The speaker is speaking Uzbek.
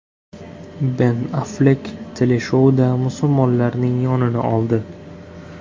Ben Afflek teleshouda musulmonlarning yonini oldi.